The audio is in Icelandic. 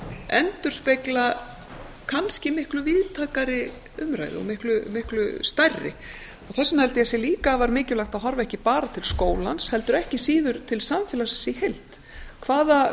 endurspegla kannski miklu víðtækari umræðu og miklu stærri þess vegna held ég líka afar mikilvægt að horfa ekki bara til skólans heldur ekki síður til samfélagsins í heild hvaða